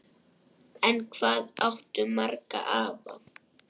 En hvað áttu marga afa?